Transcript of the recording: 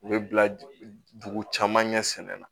U bɛ bila dugu caman ɲɛ sɛnɛn na